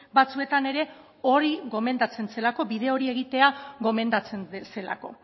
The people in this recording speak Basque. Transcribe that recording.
batzuetan ere hori gomendatzen zelako bide hori egitea gomendatzen zelako